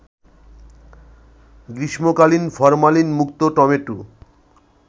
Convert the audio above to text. গ্রীষ্মকালীন ফরমালিনমুক্ত টমেটো